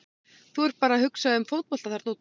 Þú ert bara að hugsa um fótbolta þarna úti.